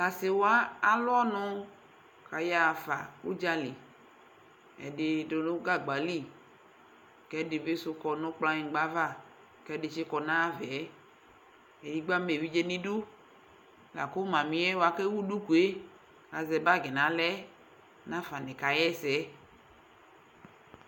T'asɩwa alʋɔnʋ kayaɣafa ʋdza li , ɛdɩ sʋ dʋ gagba li k'ɛdɩ bɩ sʋ kɔ nʋ kplanyɩgba ava kɛdɩ tsɩkɔ n'ayavaɛ edigbo amaevidze n'idu lakʋ mamɩɛ bʋa k'ewu dukue k'azɛ bag n'aɣlaɛ nafa nɩ kaɣɛsɛ